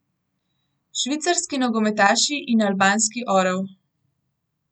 Švicarski nogometaši in albanski orel.